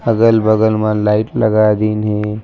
अगल-बगल मा लाइट लगा दिन हे।